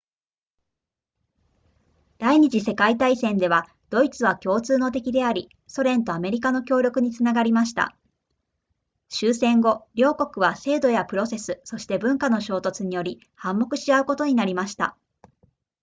第二次世界大戦ではドイツは共通の敵でありソ連とアメリカの協力につながりました終戦後両国は制度やプロセスそして文化の衝突により反目し合うことになりました